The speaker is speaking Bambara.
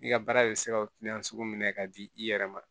I ka baara bɛ se ka minɛ ka di i yɛrɛ ma